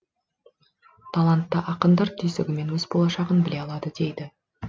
талантты ақындар түйсігімен өз болашағын біле алады дейді